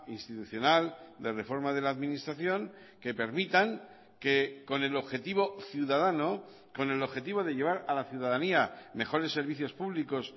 institucional de reforma de la administración que permitan que con el objetivo ciudadano con el objetivo de llevar a la ciudadanía mejores servicios públicos